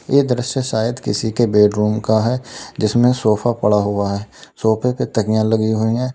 ये दृश्य शायद किसी के बेडरूम का है जिसमें सोफा पड़ा हुआ है सोफे पे तकिया लगी हुई हैं।